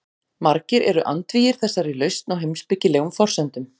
Margir eru andvígir þessari lausn á heimspekilegum forsendum.